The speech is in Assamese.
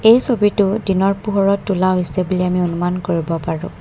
এই ছবিটো দিনৰ পোহৰত তোলা হৈছে বুলি আমি অনুমান কৰিব পাৰো।